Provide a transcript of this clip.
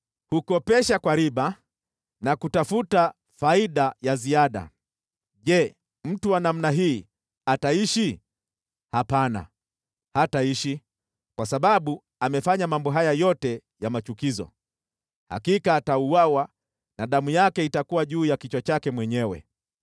Hukopesha kwa riba na kutafuta faida ya ziada. Je, mtu wa namna hii ataishi? Hapana, hataishi! Kwa sababu amefanya mambo haya yote ya machukizo, hakika atauawa na damu yake itakuwa juu ya kichwa chake mwenyewe.